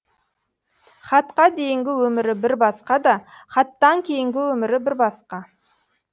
хатқа дейінгі өмірі бір басқа да хаттан кейінгі өмірі бір басқа